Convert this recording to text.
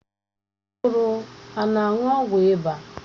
Nwa ọhụrụ a na-aṅụ ọgwụ ịba